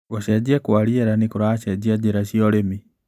Gũcenjia kwa rĩera nĩkũracenjia njĩra cia ũrĩmi.